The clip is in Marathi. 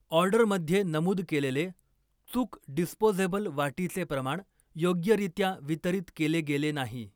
ऑर्डरमध्ये नमूद केलेले चुक डिस्पोझेबल वाटीचे प्रमाण योग्यरित्या वितरित केले गेले नाही.